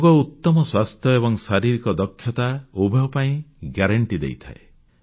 ଯୋଗ ଉତ୍ତମ ସ୍ୱାସ୍ଥ୍ୟ ଏବଂ ଶାରୀରିକ ଦକ୍ଷତା ଉଭୟ ପାଇଁ ଗ୍ୟାରେଣ୍ଟି ଦେଇଥାଏ